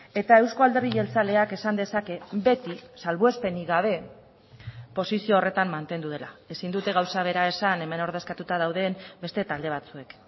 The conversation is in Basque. eta euzko alderdi jeltzaleak esan dezake beti salbuespenik gabe posizio horretan mantendu dela ezin dute gauza bera esan hemen ordezkatuta dauden beste talde batzuek